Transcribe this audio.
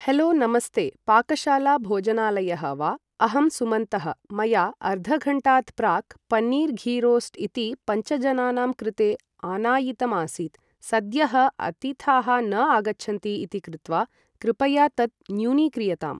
Hello नमस्ते पाकशाला भोजनालयः वा अहं सुमन्तः मया अर्धघण्टात् प्राक् पन्नीर् घीरोस्ट् इति पञ्चजनानां कृते आनायितमासीत् सद्यः अतिथाः न आगच्छन्ति इति कृत्वा कृपया तत् न्यूनीक्रियताम् ।